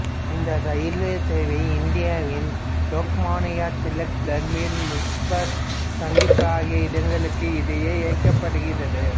இந்த ரயில்சேவை இந்தியாவின் லோக்மான்யா திலக் டெர்மினஸ் முஸஃபர்புர் சந்திப்பு ஆகிய இடங்களுக்கு இடையே இயக்கப்படுகிறது